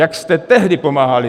Jak jste tehdy pomáhali?